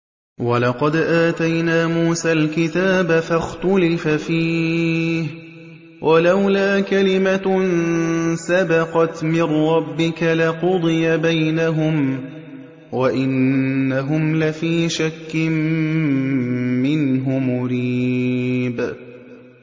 وَلَقَدْ آتَيْنَا مُوسَى الْكِتَابَ فَاخْتُلِفَ فِيهِ ۗ وَلَوْلَا كَلِمَةٌ سَبَقَتْ مِن رَّبِّكَ لَقُضِيَ بَيْنَهُمْ ۚ وَإِنَّهُمْ لَفِي شَكٍّ مِّنْهُ مُرِيبٍ